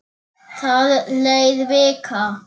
Það leið vika.